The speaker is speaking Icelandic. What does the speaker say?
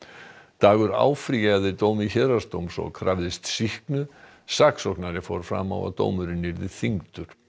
dagur áfrýjaði dómi héraðsdóms og krafðist sýknu saksóknari fór fram á að dómurinn yrði þyngdur